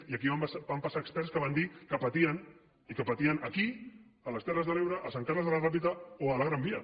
i aquí van passar experts que van dir que patien i que patien aquí a les terres de l’ebre a sant carles de la ràpita o a la gran via